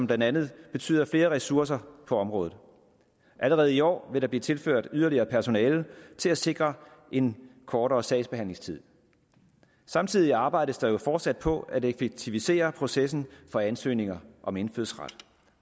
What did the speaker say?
blandt andet betyder flere ressourcer på området allerede i år vil der blive tilført yderligere personale til at sikre en kortere sagsbehandlingstid samtidig arbejdes der jo fortsat på at effektivisere processen for ansøgninger om indfødsret